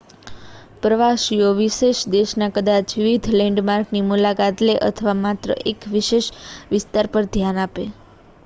પ્રવાસીઓ વિશેષ દેશના કદાચ વિવિધ લૅન્ડમાર્કની મુલાકાત લે અથવા માત્ર એક વિશેષ વિસ્તાર પર ધ્યાન આપે